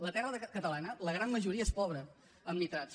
la terra catalana la gran majoria és pobra en nitrats